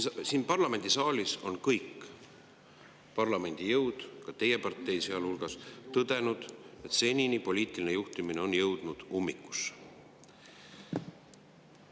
Siin parlamendisaalis on kõik parlamendis olevad jõud, teie partei sealhulgas, tõdenud, et senine poliitiline juhtimine on jõudnud ummikusse.